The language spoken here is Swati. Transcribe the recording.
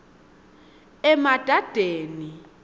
emadadeni